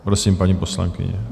Prosím, paní poslankyně.